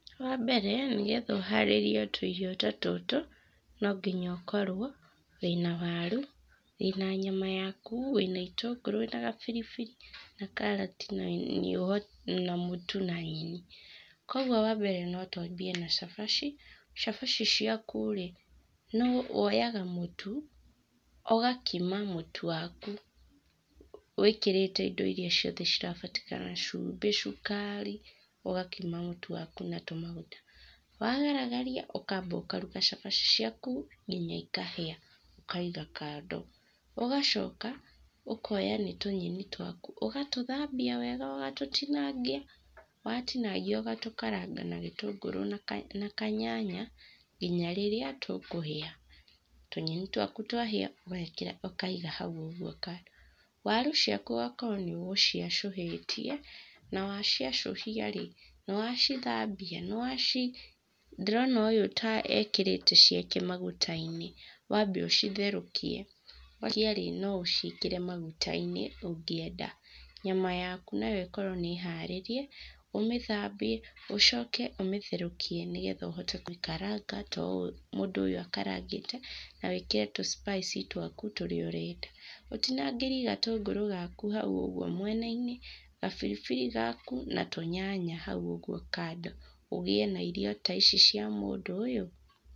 Wa mbere, nĩgetha ũharĩrie tũirio ta tũtũ, no nginya ũkorwo wĩna waru, wĩna nyama yaku, wĩna itũngũrũ, wĩna gabirbiri, na karati, na mũtu, na nyeni. Kwoguo wa mbere no twambie na cabaci. Cabaci ciaku rĩ, no woyaga mũtu, ugakima mũtu waku wĩkĩrĩte indo iria ciothe cirabatarĩkana, cumbĩ, cukari, ũgakima mũtu waku na tũmaguta. Wagaragaria ũkaamba ũkaruga cabaci ciaku nginya ikahĩa, ũkaiga kando. Ũgacoka ũkoya nĩ tũnyeni twaku, ũgatũthambia wega, ũgatũtinangia. Watinangia, ũgatũkaranga na gĩtũngũrũ na kanyanya nginya rĩrĩa tũkũhĩa. Tũnyeni twaku twahĩa, ũgeekĩra ũkaiga hau ũguo kando. Waru ciaku ũgakorwo nĩ ũgũciacũhĩtie, na wa ciacũhia rĩ, nĩ wacithambia? Nĩ wa ci-? Ndĩrona ũyũ ta ekĩrĩte ciake maguta-inĩ. Wambe ũcitherũkie, watherũkia rĩ, no ũciĩkĩre maguta-inĩ, ũngĩenda. Nyama yaku nayo ĩkorwo nĩ harĩrie, ũmĩthambie, ũcoke ũmĩtherũkie nĩgetha ũhote kũkaranga ta ũũ mũndũ ũyũ akarangĩte na wĩkĩre tũ spice twaku tũrĩa ũrenda. Ũtinangĩrie gatũngũrũ gaku hau ũguo mwena-inĩ, gabiribiri gaku, na tũnyanya hau ũguo kando, ũgĩe na irio ta ici cia mũndũ ũyũ.